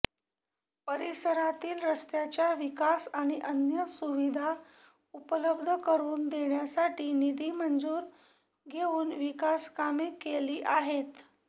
परिसरातील रस्त्याच्या विकास आणि अन्य सुविधा उपलब्ध करून देण्यासाठी निधी मंजूर घेवून विकासकामे केली आहेत